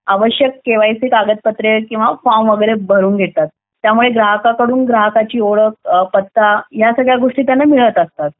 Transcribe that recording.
आवश्यक केवायसी कागदपत्र किंवा फॉर्म वगैरे भरून घेतात त्यामुळे ग्राहकाकडून ग्राहकाची ओळख पत्ता या सगळ्या गोष्टी त्यांना मिळत असतात